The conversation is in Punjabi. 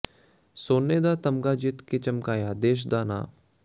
ਸੋਨੇ ਦਾ ਤਮਗਾ ਜਿੱਤ ਕੇ ਚਮਕਾਇਆ ਦੇਸ਼ ਦਾ ਨਾਂ